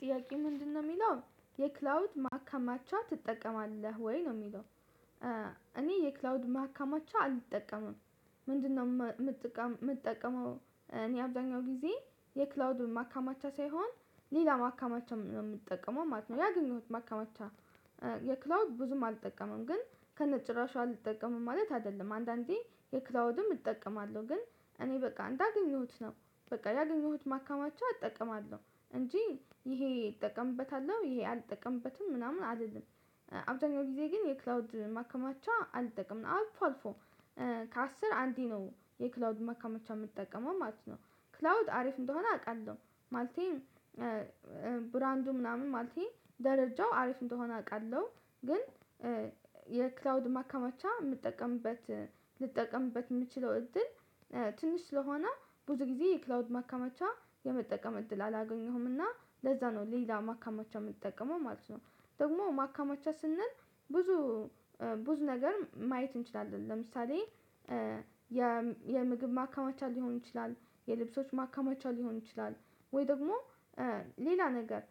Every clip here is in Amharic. ጥያቄ ምንድነው የሚለው፣ የክላውድ ማካማቻ ትጠቀማለህ ወይ? ነው የሚለው እኔ የክላውድ ማካማቸው አልጠቀምም ምንድነው የምጠቀመው እኔ አብዛኛው ጊዜ የክላውድ ማካማቻ ሳይሆን ሌላ ማካማቻ ነው የምጠቀመው ማለት ነው ያገኘሁት ማካማቻ። የክላውድ ብዙም አልጠቀምም ግን ከነጭራሹ አልጠቀምም ማለት አይደለም። አንዳንዴ የክላውድም እጠቀማለሁ ግን እኔ በቃ እንዳገኘሁት ነው በቃ ያገኘሁት ማካማቸው አጠቀማለሁ። እንጂ ይሄ እጠቀምበታለሁ ይሄ አልጠቀምበትም ምናምን አይደለም አብዛኛው ጊዜ ግን የክላውድ ማከማቻ አልጠቀምም አልፎ አልፎ ከአስር አንዴ ነው የክላውድ ማከማቻ የምትጠቀመው ማለት ነው። ክላውድ አሪፍ እንደሆነ አውቃለሁ ማለቴ ብራንዱ ምናምን ማለቴ ደረጃው አሪፍ እንደሆነ አውቃለሁ ግን የክላውድ ማካማቻ የምትጠቀምበት ልጠቀምበት የምትችለው እድል ትንሽ ስለሆነ፣ ብዙ ጊዜ ክላውድ ማካመቻ የመጠቀም እድል አላገኘሁም እና ለዛ ነው ሌላ ማካማቻ የምትጠቀመው ማለት ነው። ደግሞ ማካማቻ ስንል ብዙ ብዙ ነገር ማየት እንችላለን ለምሳሌ የምግብ ማካማቻ ሊሆን ይችላል፣ የልብሶች ማከማቻ ሊሆን ይችላል፣ ወይ ደግሞ ሌላ ነገር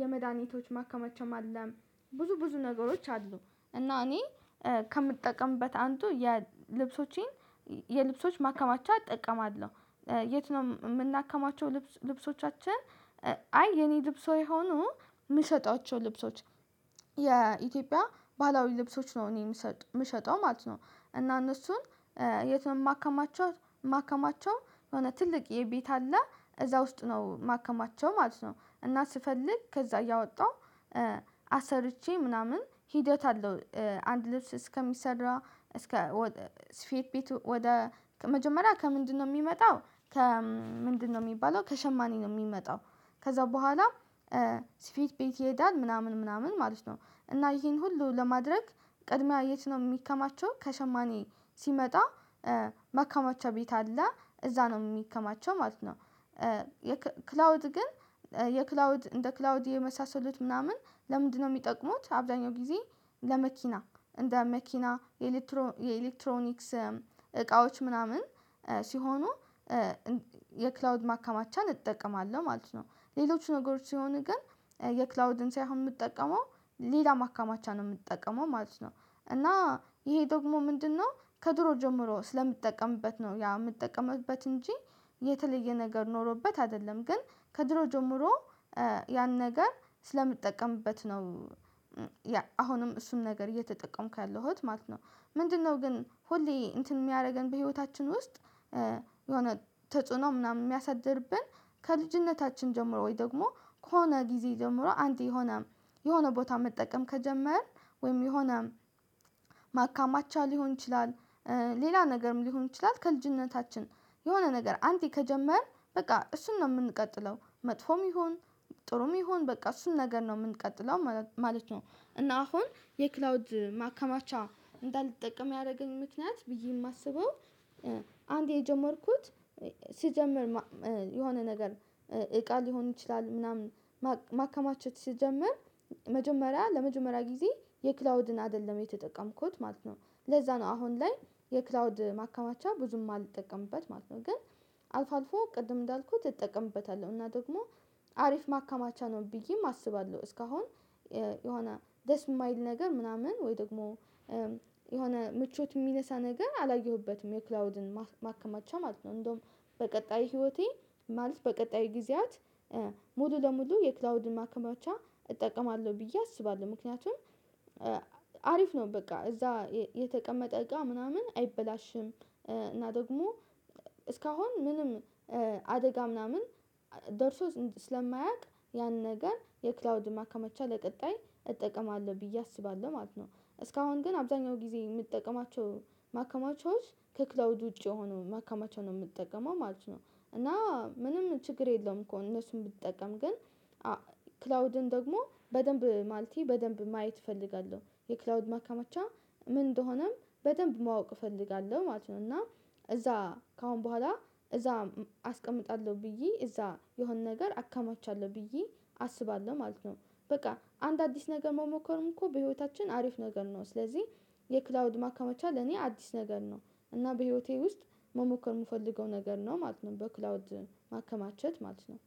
የመድሃኒቶች ማከማቻ አለም ብዙ ብዙ ነገሮች አሉ እና እኔ ከምጠቀምበት አንዱ የ ልብሶቼን የልብሶች ማከማቻ እጠቀማለሁ። የት ነው የምናከማቸው ልብሶቻችን አይ የኔ ልብሶ የሆኑ የምሰጣቸው ልብሶች የኢትዮጵያ ባህላዊ ልብሶች ነው እኔ የምሰጥ የምሸጠው ማለት ነው። እና እነሱን የት የማከማቸው የማከማቸው የሆነ ትልቅዬ ቤት አለ እዛ ውስጥ ነው ማከማቸው ማለት ነው። እና ስፈልግ ከዛ እያወጣሁ አሰርቼ ምናምን ሂደት አለው አንድ ልብስ እስከሚሰራ እስከ ስፌት ቤት ወደ መጀመሪያ ከምንድነው የሚመጣው ከ ምንድነው የሚባለው ከሸማኔ ነው የሚመጣው ከዛ በኋላ ስፌት ቤት ይሄዳል ምናምን ምናምን ማለት ነው። እና ይሄን ሁሉ ለማድረግ ቀድሚያ የት ነው የሚከማቸው ከሸማኔ ሲመጣ ማከማቸው ቤት አለ እዛ ነው የሚከማቸው ማለት ነው። ክላውድ ግን የክላውድ እንደ ክላውድ የመሳሰሉት ምናምን ለምንድነው የሚጠቅሙት አብዛኛው ጊዜ፣ ለመኪና እንደ መኪና፣ የኤሌክትሮኒክስ እቃዎች ምናምን ሲሆኑ የክላውድ ማከማቻን እጠቀማለሁ ማለት ነው። ሌሎች ነገሮች ሲሆን ግን የክላውድን ሳይሆን የምጠቀመው ሌላ ማካማቻ ነው የምጠቀመው ማለት ነው። እና ይሄ ደግሞ ምንድነው ከድሮ ጀምሮ ስለምትጠቀምበት ነው ያ የምትጠቀምበት እንጂ የተለየ ነገር ኖሮበት አይደለም ግን ከድሮ ጀምሮ ያን ነገር ስለምጠቀምበት ነው። አሁንም እሱን ነገር እየተጠቀምኩ ያለሁት ማለት ነው። ምንድነው ግን ሁሌ እንትን የሚያደርገን በህይወታችን ውስጥ የሆነ ተጽዕኖ ምናምን የሚያሳድርብን ከልጅነታችን ጀምሮ ወይ ደግሞ ከሆነ ጊዜ ጀምሮ አንዴ የሆነ የሆነ ቦታ መጠቀም ከጀመርን ወይም የሆነ ማካማቻ ሊሆን ይችላል ሌላ ነገርም ሊሆን ይችላል ከልጅነታችን የሆነ ነገር አንዴ ከጀመርን በቃ እሱን ነው የምንቀጥለው መጥፎም ይሁን ጥሩም ይሁን በቃ እሱን ነገር ነው የምንቀጥለው ማለት ነው። እና አሁን የክላውድ ማከማቻ እንዳልጠቀም ያደረገኝ ምክንያት ብዬ የማስበው አንዴ የጀመርኩት ሲጀመር የሆነ ነገር እቃ ሊሆን ይችላል ምናምን ማከማቸት ስጀምር መጀመሪያ ለመጀመሪያ ጊዜ የክላውድን አይደለም የተጠቀምኩት ማለት ነው ለዛ ነው አሁን ላይ የክላውድ ማከማቻ ብዙም አልጠቀምበት ማለት ነው። ግን አልፎ አልፎ ቅድም እንዳልኩት እጠቀምበታለሁ እና ደግሞ አሪፍ ማካማቻ ነው ብዬም አስባለሁ፣ እስካሁን የሆነ ደስ የማይል ነገር ምናምን ወይ ደግሞ የሆነ ምቾት የሚነሳ ነገር አላየሁበትም፣ የክላውድን ማከማቻ ማለት ነው። እንደውም በቀጣይ ህይወቴ ማለት በቀጣይ ጊዜያት ሙሉ ለሙሉ የክላውድን ማከማቻ እጠቀማለሁ ብዬ አስባለሁ፣ ምክንያቱም አሪፍ ነው በቃ እዛ የተቀመጠ እቃ ምናምን አይበላሽም እና ደግሞ እስካሁን ምንም አደጋ ምናምን ደርሶ ስለማያቅ ያን ነገር የክላውድ ማከመቻ ለቀጣይ እጠቀማለሁ ብዬ አስባለሁ ማለት ነው። እስካሁን ግን አብዛኛው ጊዜ የምጠቀማቸው ማከማቻዎች ከክላውድ ውጪ የሆኑ መከማቸው ነው የምትጠቀመው ማለት ነው። እና ምንም ችግር የለውም እኮ እነሱን ብጠቀም ግን ክላውድን ደግሞ በደንብ ማለቴ በደንብ ማየት እፈልጋለሁ። የክላውድ ማከማቻ ምን እንደሆነም በደንብ ማወቅ እፈልጋለሁ ማለት ነው እና እዛ ከአሁን በኋላ እዛ አስቀምጣለሁ ብዬ እዛ የሆነ ነገር አካማቻለሁ ብዬ አስባለሁ ማለት ነው። በቃ አንድ አዲስ ነገር መሞከርም እኮ በህይወታችን አሪፍ ነገር ነው። ስለዚህ የክላውድ ማከማቻ ለኔ አዲስ ነገር ነው እና በህይወቴ ውስጥ መሞከር የምፈልገው ነገር ነው ማለት ነው። በክላውድ ማከማቸት ማለት ነው።